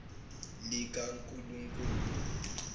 likankulunkulu